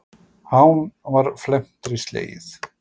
Hán var felmtri slegið.